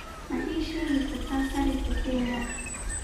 ma ii sheegi kartaa sarifka kenya